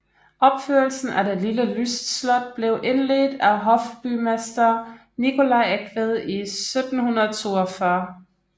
Opførelsen af det lille lystslot blev indledt af hofbygmester Nicolai Eigtved i 1742